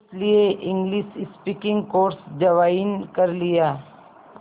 इसलिए English speaking course join कर लिया